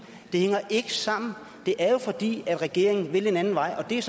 det hænger ikke sammen det er jo fordi regeringen vil en anden vej og det er